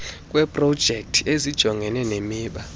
kweeprojekthi ezijongene nemiba